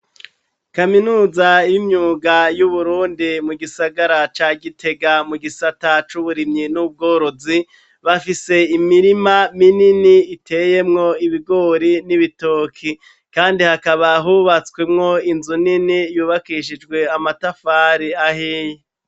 Kaminuza y'imyuga y' Uburundi mu gisagara ca gitega mu gisata c' uburimyi n'ubworozi, bafise imirima minini iteyemwo ibigori n'ibitoki. Kandi hakaba hubatswemwo inzu nini yubakishijwe amatafari ahiye.